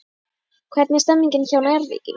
Hvernig er stemningin hjá Njarðvíkingum?